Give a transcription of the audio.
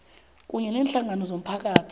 kunye neenhlangano zomphakathi